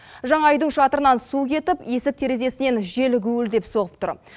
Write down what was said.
жаңа үйдің шатырынан су кетіп есік терезесінен жел гуілдеп соғып тұр